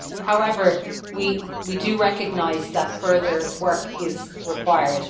However, we do recognise that further work is required.